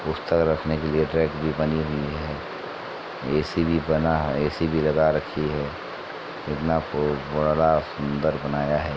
पुस्तक रखने के लिए रैक भी बनी हुई है | एसी भी बना है एसी भी लगा रखी है | सुन्दर बनाया है |